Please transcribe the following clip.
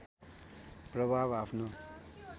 प्रभाव आफ्नो